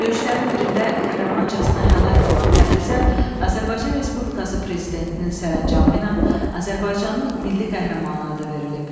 Döyüşlərin birində qəhrəmancasına həlak olan Təbrizə Azərbaycan Respublikası Prezidentinin sərəncamı ilə Azərbaycanın Milli Qəhrəmanı adı verilib.